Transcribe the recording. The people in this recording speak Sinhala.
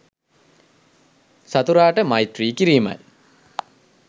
සතුරාට මෛත්‍රී කිරීමයි.